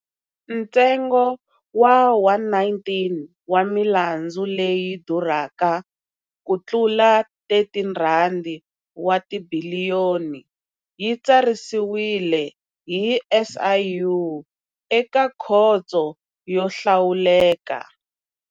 Ntsengo wa 119 wa milandzu leyi durhaka kutlula R13 wa tibiliyoni yi tsarisiwile hi SIU eka Khoto yo Hlawuleka.